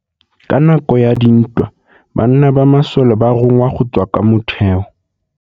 Ka nakô ya dintwa banna ba masole ba rongwa go tswa kwa mothêô.